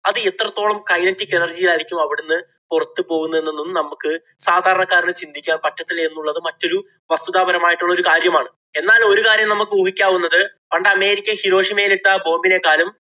അത് എത്രത്തോളം kinetic energy ആയിരിക്കും അവിടുന്ന് പുറത്ത് പോകുന്നതെന്ന് നമുക്ക് സാധാരണക്കാരന് ചിന്തിക്കാന്‍ പറ്റത്തില്ല എന്നുള്ളത് മറ്റൊരു വസ്തുതാപരമായിട്ടുള്ള ഒരു കാര്യമാണ്. എന്നാല്‍ ഒരു കാര്യം നമ്മക്ക് ഊഹിക്കാവുന്നത് പണ്ട് അമേരിക്ക ഹിരോഷിമയില്‍ ഇട്ട ആ bomb നേക്കാളും